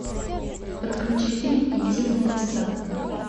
подключи фильм интимные места